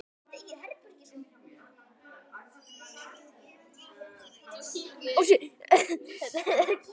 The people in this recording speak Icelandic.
verður manni að spurn.